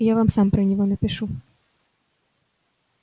я вам сам про него напишу